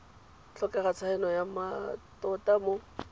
tlhokega tshaeno ya mmatota mo